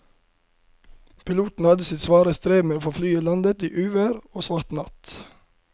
Piloten hadde sitt svare strev med å få landet flyet i uvær og svart natt.